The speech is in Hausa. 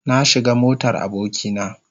Na shiga motar aboki na.